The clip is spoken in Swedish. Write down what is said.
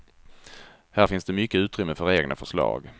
Här finns det mycket utrymme för egna förslag.